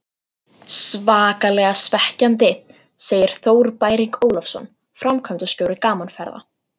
Svakalega svekkjandi, segir Þór Bæring Ólafsson, framkvæmdastjóri Gaman Ferða.